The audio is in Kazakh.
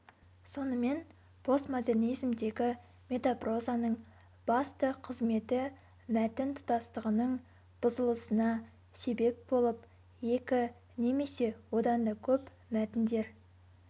сонымен постмодернизмдегі метапрозаның басты қызметі мәтін тұтастығының бұзылысына себеп болып екі немесе одан да көп мәтіндер